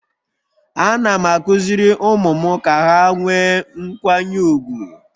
Ana m akụziri ụmụ m Ka ha nwee nkwanye ugwu..